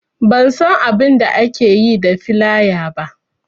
Ban san abainda ake yi da filaya ba